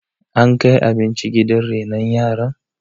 ankai abinci gidan renon yaran?